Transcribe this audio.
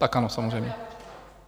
Tak ano, samozřejmě.